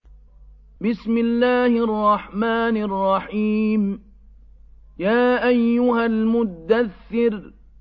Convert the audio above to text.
يَا أَيُّهَا الْمُدَّثِّرُ